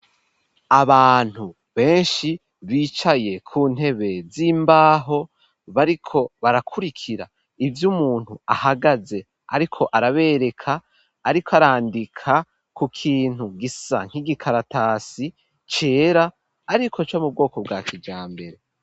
Abantu benshi bicaye ku ntebe z'imbaho, bariko barakurikira ivy' umuntu ahagaze ariko arabereka, ariko arandika ku kintu gisa nk'igikaratasi cera, ariko co mu bwoko bwa kijambere.